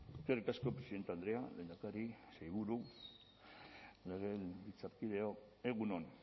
eskerrik asko presidente andrea lehendakari sailburu legebiltzarkideok egun on